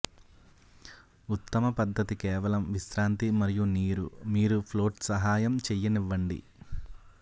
ఉత్తమ పద్ధతి కేవలం విశ్రాంతి మరియు నీరు మీరు ఫ్లోట్ సహాయం చెయ్యనివ్వండి